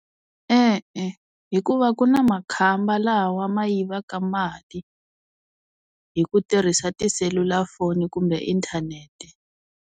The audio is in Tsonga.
E-e, hikuva ku na makhamba laha wa ma yivaka mali, hi ku tirhisa tiselulafoni kumbe inthanete.